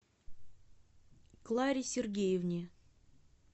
кларе сергеевне